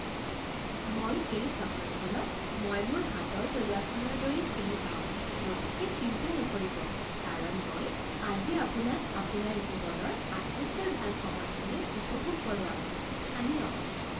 মই এই চহৰখনক মই মোৰ হাতৰ তলুৱাখনৰ দৰেই চিনি পাওঁ গতিকে চিন্তা নকৰিব কাৰণ মই আজি আপোনাক আপোনাৰ জীৱনৰ আটাইতকৈ ভাল সময়খিনিৰ উপভোগ কৰোৱাম। স্থানীয়